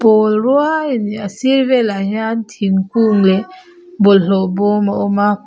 pawl ruai a ni a a sir velah hian thingkung leh bawlhhlawh bawm a awm a.